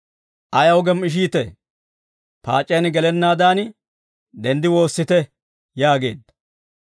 «Ayaw gem"ishiitee? Paac'iyaan gelennaadan denddi woossite» yaageedda.